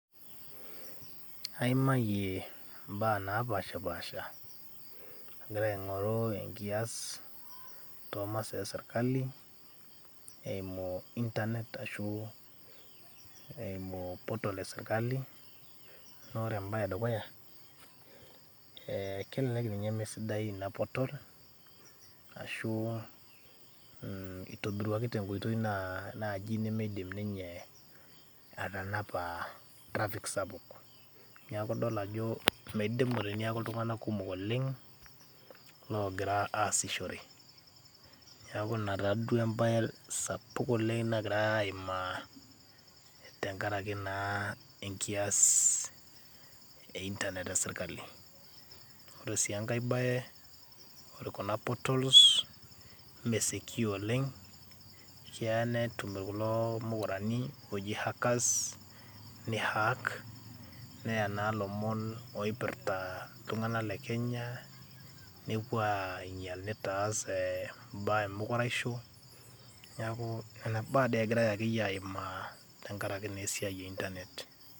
aimayie imbaa napashipasha agira aing'oru enkias tomasaa esirkali eimu internet ashu eimu portal esirkali naa ore embaye edukuya eh, kelelek ninye mesidai ina portal ashu eitobiruaki tenkoitoi naaji nimidim ninye atanapa traffic sapuk niaku idol ajo meidimu teniaku iltung'anak kumok oleng logira asishore niaku in taduo embaye sapuk oleng nagirae aimaa tenkaraki naa enkias e internet esirkali ore sii enkae baye ore kuna portals ime secure oleng keya netum kulo mukurani oji hackers nihak neya naa ilomon oipirrta iltung'anak le kenya nepuo ainyial nitaas eh, imbaa emukuraisho niaku nena baa dee egirae akeyie aimaa tenkarake naa esiai e internet.